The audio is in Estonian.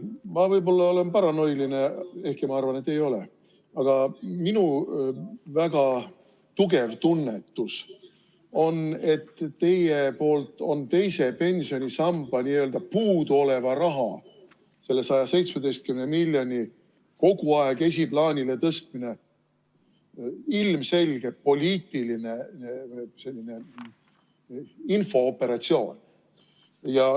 Ma võib-olla olen paranoiline, ehkki ma arvan, et ei ole, aga minu väga tugev tunnetus on, et teie poolt on teise pensionisamba n-ö puuduoleva raha, 117 miljoni euro kogu aeg esiplaanile tõstmine ilmselgelt poliitiline infooperatsioon.